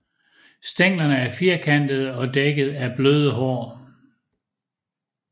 Stænglerne er firkantede og dækket af bløde hår